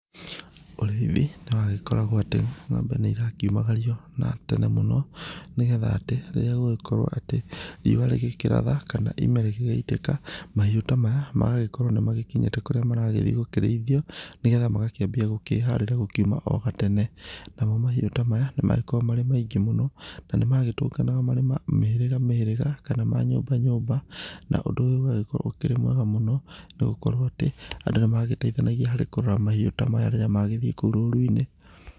Ũrĩithi nĩ wagĩkoragwo atĩ, ng'ombe nĩ irakiumagario na tene mũno nĩgetha atĩ rĩrĩa gũrĩgĩkorwo atĩ, riũa rĩgĩkĩratha, kana ime rĩgĩgĩitĩka, mahiũ ta maya magagĩkorwo nĩ makinyĩte kũrĩa marathiĩ gũkĩrĩithio, nĩgetha magakĩambia gũkĩharĩra gũkiuma o gatene. Namo mahiũ ta maya nĩ magĩkoragwo marĩ maingĩ na nĩ magĩtũnganaga marĩ ma mĩhĩrĩga mĩhĩrĩga, kana ma nyũmba nyũmba, na ũndũ ũyũ ũgagĩkorwo ũkĩrĩ mwega mũno, nĩ gũkorwo atĩ, andũ nĩ magĩteithanagia harĩ kũrora mahiũ ta maya rĩrĩa magĩthiĩ kou rũru-inĩ.